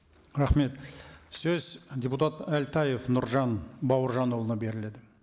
рахмет сөз депутат әлтаев нұржан бауыржанұлына беріледі